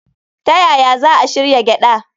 Ta yaya za a shirya gyada?